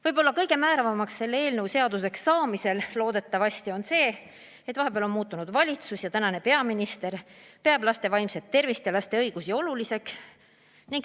Võib-olla kõige määravam selle eelnõu loodetavasti seaduseks saamisel on see, et vahepeal on valitsus vahetunud ja tänane peaminister peab laste vaimset tervist ja laste õigusi oluliseks.